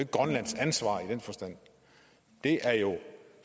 grønlands ansvar i den forstand det er jo